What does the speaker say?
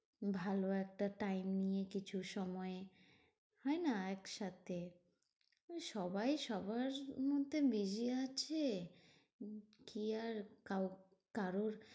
ভালো একটা time নিয়ে কিছু সময় হয়না? একসাথে সবাই সবার মধ্যে busy আছে। কি আর কাউ কারোর